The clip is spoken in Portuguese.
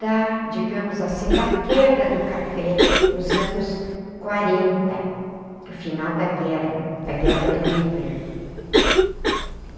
da, digamos assim, da queda do café nos anos quarenta, no final da guerra, da guerra do Hitler.